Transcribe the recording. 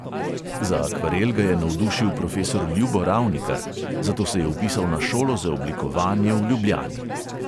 Za akvarel ga je navdušil profesor ljubo ravnikar, zato se je vpisal na šolo za oblikovanje v ljubljani.